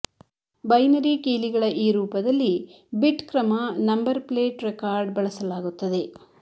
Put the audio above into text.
binary ಕೀಲಿಗಳ ಈ ರೂಪದಲ್ಲಿ ಬಿಟ್ಕ್ರಮ ನಂಬರ್ ಪ್ಲೇಟ್ ರೆಕಾರ್ಡ್ ಬಳಸಲಾಗುತ್ತದೆ